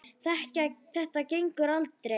Þetta gengur aldrei.